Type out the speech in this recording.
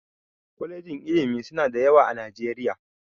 Kwalejin ilimi suna da yawa a Najeriya